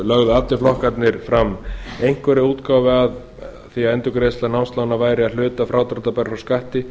lögðu allir flokkarnir fram einhverja útgáfu að því að endurgreiðsla námslána væri að hluta frádráttarbær frá skatti